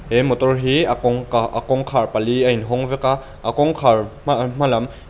he motor hi a kawngka a kawngkhar pali a in hawng vek a a kawngkhar hma hma lam--